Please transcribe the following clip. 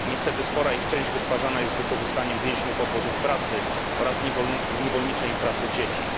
Niestety spora ich część wytwarzana jest z wykorzystaniem więźniów z obozów pracy oraz niewolniczej pracy dzieci.